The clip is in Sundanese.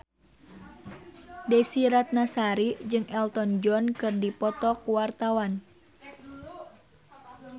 Desy Ratnasari jeung Elton John keur dipoto ku wartawan